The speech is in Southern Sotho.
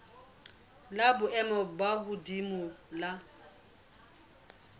la boemo bo hodimo la